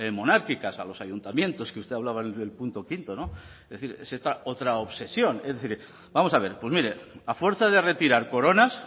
monárquicas a los ayuntamientos que usted hablaba en el punto quinto no es decir es esta otra obsesión es decir vamos a ver pues mire a fuerza de retirar coronas